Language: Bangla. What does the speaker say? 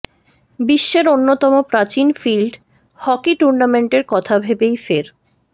বিশ্বের অন্যতম প্রাচীন ফিল্ড হকি টুর্নামেন্টের কথা ভেবেই ফের